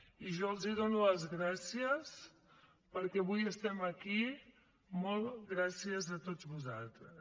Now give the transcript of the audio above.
i jo els dono les gràcies perquè avui estem aquí molts gràcies a tots vosaltres